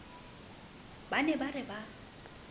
ba ne ba re ba